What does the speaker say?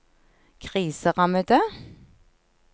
kriserammede